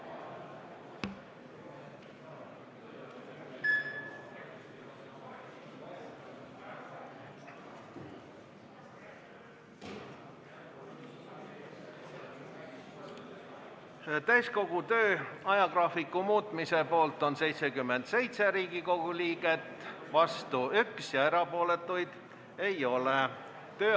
Hääletustulemused Täiskogu töö ajagraafiku muutmise poolt on 77 Riigikogu liiget, vastu on 1, erapooletuid ei ole.